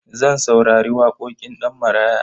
Zan saurari waƙoƙin Ɗanmaraya.